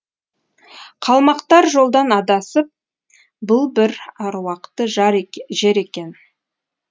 қалмақтар жолдан адасып бұл бір аруақты жар екен жер екен